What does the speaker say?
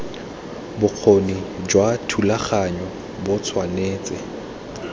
bokgoni jwa thulaganyo bo tshwanetse